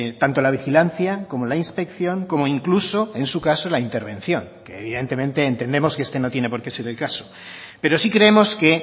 tanto la vigilancia como la inspección como incluso en su caso la intervención que evidentemente entendemos que este no tiene porqué ser el caso pero sí creemos que